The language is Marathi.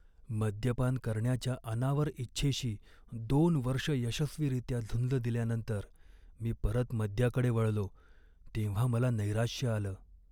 मद्यपान करण्याच्या अनावर इच्छेशी दोन वर्षं यशस्वीरित्या झुंज दिल्यानंतर मी परत मद्याकडे वळलो तेव्हा मला नैराश्य आलं.